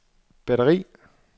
batteri